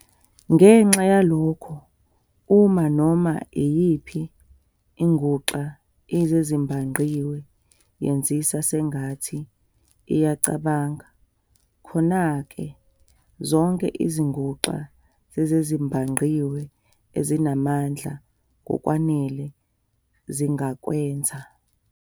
Ngenxa yalokho, uma "noma iyiphi" inguxa yezezibhangqiwe "yenzisa sengathi iyacabanga" khona ke, "zonke" izinguxa zezezibhangqiwe ezinamandla ngokwanele zingakwenza.